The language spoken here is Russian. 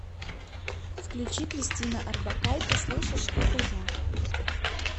включи кристина орбакайте слышишь это я